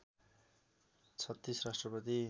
३६ राष्ट्रपति